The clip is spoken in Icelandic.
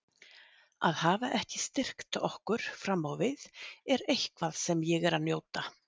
Að hafa ekki styrkt okkur fram á við er eitthvað sem ég er að njóta.